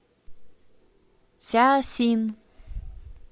цзясин